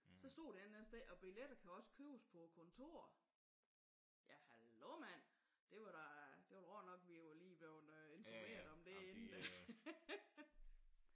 Så stod der et eller andet sted og billetter også kan købes på kontoret. Ja hallo mand. Det var da det var godt nok vi lige var blevet informeret om det inden da